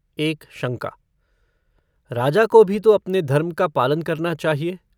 एक शंका - राजा को भी तो अपने धर्म का पालन करना चाहिए।